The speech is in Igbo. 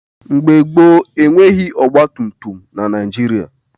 Mgbe gboo, e nweghị ọgbatumtum na Naịjịrịa.